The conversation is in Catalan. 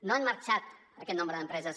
no han marxat aquest nombre d’empreses